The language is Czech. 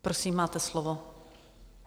Prosím, máte slovo.